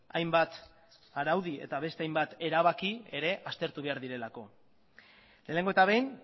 hainbat araudi eta beste hainbat erabaki aztertu behar direlako lehenengo eta behin